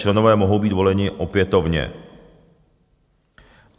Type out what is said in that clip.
Členové mohou být voleni opětovně.